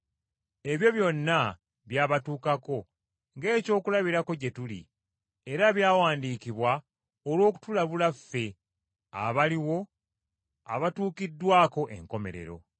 Ebyo byonna byabatuukako ng’ekyokulabirako gye tuli, era byawandiikibwa olw’okutulabula ffe abaliwo abatuukiddwako enkomerero.